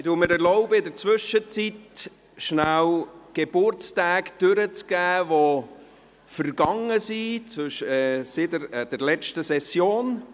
Ich erlaube mir, in der Zwischenzeit kurz Geburtstage, die seit der letzten Session vergangen sind, durchzugeben.